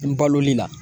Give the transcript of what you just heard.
N baloli la